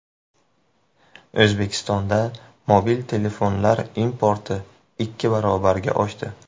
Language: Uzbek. O‘zbekistonda mobil telefonlar importi ikki barobarga oshdi.